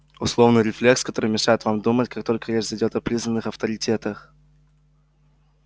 условный рефлекс который мешает вам думать как только речь зайдёт о признанных авторитетах